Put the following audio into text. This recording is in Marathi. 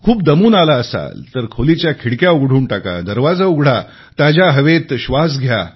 खूप दमून आला असाल तर खोलीच्या खिडक्या उघडून टाका दरवाजा उघडा ताज्या हवेत श्वास घ्या